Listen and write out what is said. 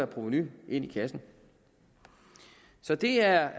provenu ind i kassen så det er